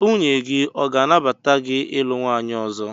Nwunye gị ọ ga-anabata gị ilu nwaanyị ọzọ?